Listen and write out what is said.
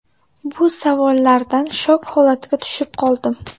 Bu savollardan shok holatiga tushib qoldim.